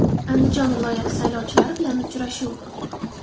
Andijon viloyati saylovchilari bilan uchrashuv.